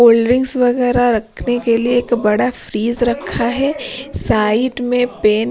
cold drinks वगैरह रखने के लिए एक बड़ा फ्रिज रखा है साइड में पेन--